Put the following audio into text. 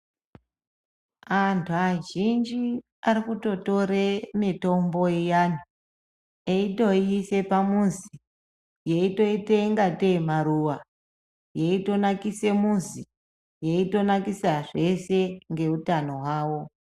Antu azhinji ,ari kutotore mitombo iyani, eitoiise pamuzi, yeitoite ingatei maruwa ,yeitonakise muzi, yeitonakisa zveshe ngeutano hwavo.